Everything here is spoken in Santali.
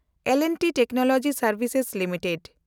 ᱮᱞ ᱮᱱᱰ ᱴᱤ ᱴᱮᱠᱱᱳᱞᱚᱡᱤ ᱥᱮᱱᱰᱵᱷᱤᱥᱮᱥ ᱞᱤᱢᱤᱴᱮᱰ